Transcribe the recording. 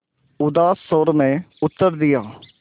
उदास स्वर में उत्तर दिया